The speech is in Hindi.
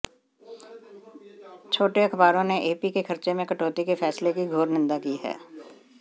छोटे अखबारों ने एपी के खर्चे में कटौती के फैसले की घोर निंदा की है